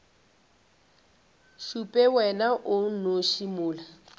šupe wena o nnoši mola